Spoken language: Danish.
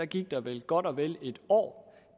gik der vel godt og vel et år